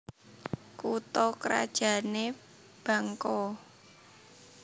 Kutha krajané Bangko